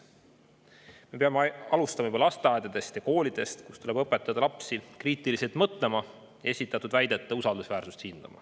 Me peame alustama juba lasteaedadest ja koolidest, kus tuleb õpetada lapsi kriitiliselt mõtlema, hindama esitatud väidete usaldusväärsust.